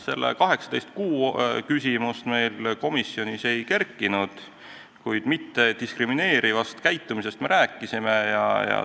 Selle 18 kuu küsimust meil komisjonis ei kerkinud, kuid mittediskrimineerivast käitumisest rääkisime küll.